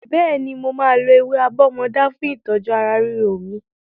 Bẹ́ẹ̀ni, mo máa lo ewé àbọ́mọdá fún ìtọ́jú ara ríro mi.